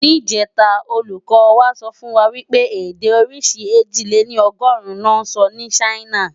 Nijètá ólúkò wá sòfúnwá wipé èdè órisi èjì lé ní ọ́ọ̀dúnrún lò nsò ni Ṣaina